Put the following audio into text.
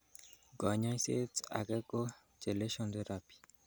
Konyoiset ake ko chelation therapy.